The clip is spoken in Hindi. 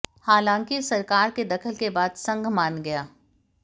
हालांकि सरकार के दखल के बाद संघ मान गया